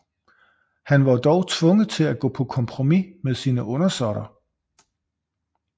Han var dog tvunget til at gå på kompromis med sine undersåtter